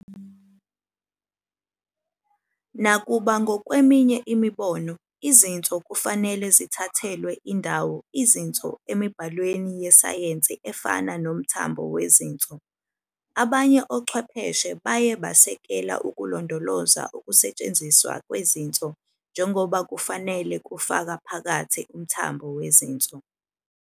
Nakuba ngokweminye imibono, "izinso" kufanele zithathelwe indawo "izinso " emibhalweni yesayensi efana "nomthambo wezinso", abanye ochwepheshe baye basekela ukulondoloza ukusetshenziswa kwezinso njengoba kufanele kufaka phakathi "emthambo weinso".